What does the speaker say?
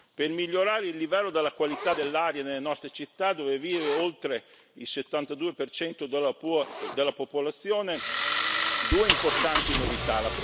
Per migliorare il livello della qualità dell'aria nelle nostre città, dove vive oltre il 72 della popolazione, ci sono due importanti novità.